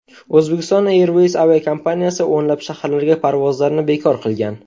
Uzbekistan Airways aviakompaniyasi o‘nlab shaharlarga parvozlarni bekor qilgan .